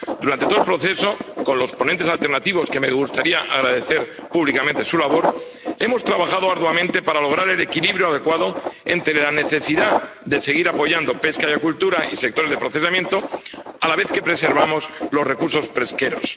Durante todo el proceso con los ponentes alternativos, cuya labor me gustaría agradecer públicamente, hemos trabajado arduamente para lograr el equilibrio adecuado entre la necesidad de seguir apoyando pesca y acuicultura y sectores de procesamiento, a la vez que preservamos los recursos pesqueros.